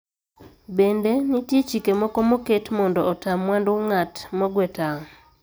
Bende, nitie chike moko moket mondo ota mwandu ng`at mogwe tawo.